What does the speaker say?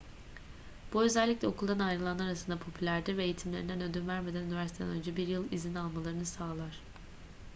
bu özellikle okuldan ayrılanlar arasında popülerdir ve eğitimlerinden ödün vermeden üniversiteden önce 1 yıl izin almalarını sağlar